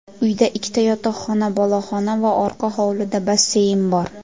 Uyda ikkita yotoqxona, boloxona va orqa hovlida basseyn bor.